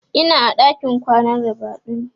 Ina a ɗakin kwanan ribadu ne